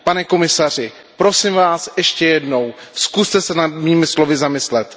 Pane komisaři, prosím Vás ještě jednou, zkuste se nad mými slovy zamyslet.